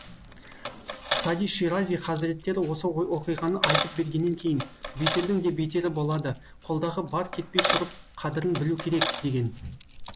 сади ширази хазреттері осы оқиғаны айтып бергеннен кейін бетердің де бетері болады қолдағы бар кетпей тұрып қадірін білу керек деген